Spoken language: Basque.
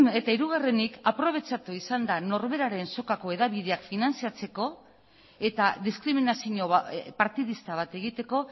eta hirugarrenik aprobetxatu izan da norberaren sokako hedabideak finantziatzeko eta diskriminazio partidista bat egiteko